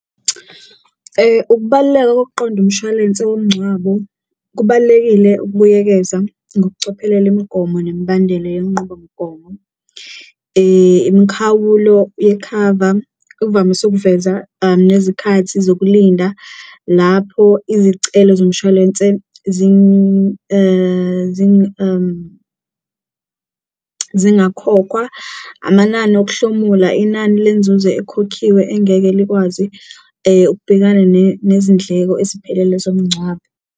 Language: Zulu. Ukubaluleka kokuqonda umshwalense womngcwabo kubalulekile ukubuyekeza ngokucophelela imigomo nemibandela yenqubomgomo, imikhawulo yekhava uvamise ukuveza nezikhathi zokulinda lapho izicelo zomshwalense zingakhokhwa. Amanani okuhlomula, inani lenzuzo ekhokhiwe engeke likwazi ukubhekana nezindleko eziphelele zomncwabo.